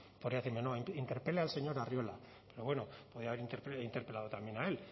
podía decirme no interpele al señor arriola pero bueno podía haber interpelado también a él